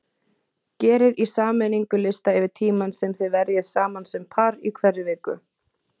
Gerið í sameiningu lista yfir tímann sem þið verjið saman sem par í hverri viku.